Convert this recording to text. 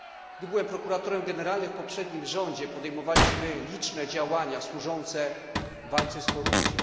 Gdy byłem prokuratorem generalnym w poprzednim rządzie, podejmowaliśmy liczne działania służące walce z korupcją.